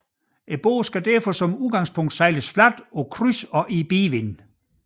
Båden skal derfor som udgangspunks sejles fladt på kryds og bidevind